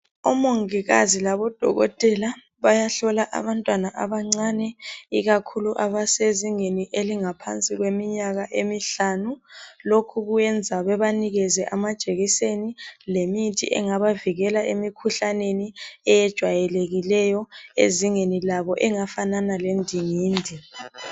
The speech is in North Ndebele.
Omongikazi laboDokotela bayahlola abantwana abancane. Ikakhulu abasezingeni elingaphansi kweminyaka emihlanu .Lokhu kuyenza bebanikeze amajekiseni lemithi engabavikela emikhuhlaneni eyejwayelekileyo ezingeni labo engafanana lendingindi.